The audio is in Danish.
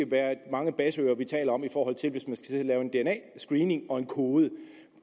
være mange basseører vi taler om i forhold til hvis man skal sidde og lave en dna screening og kode